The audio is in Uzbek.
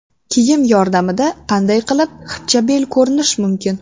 Kiyim yordamida qanday qilib xipchabel ko‘rinish mumkin?